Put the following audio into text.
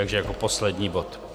Takže jako poslední bod.